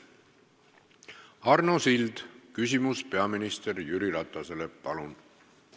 Arno Sild, küsimus peaminister Jüri Ratasele, palun!